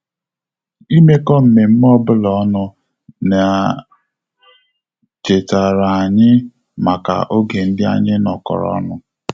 Imekọ mmemme obula ọnụ na chetara anyị maka oge ndị anyị nọkọrọ ọnụ